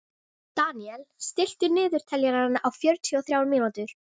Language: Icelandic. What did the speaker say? Deníel, stilltu niðurteljara á fjörutíu og þrjár mínútur.